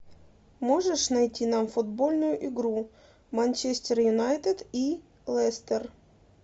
можешь найти нам футбольную игру манчестер юнайтед и лестер